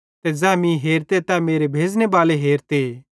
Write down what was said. ते ज़ै मीं हेरते तै मेरे भेज़ने बाले हेरते